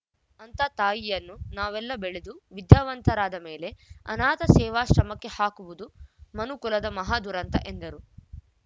ಅಂತ ತಾಯಿಯನ್ನು ನಾವೆಲ್ಲ ಬೆಳೆದು ವಿದ್ಯಾವಂತರಾದ ಮೇಲೆ ಅನಾಥ ಸೇವಾಶ್ರಮಕ್ಕೆ ಹಾಕುವುದು ಮನುಕುಲದ ಮಹಾ ದುರಂತ ಎಂದರು